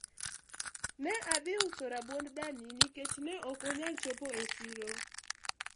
ne adhi uso rabuond dani nikech ne ok onyal chopo e siro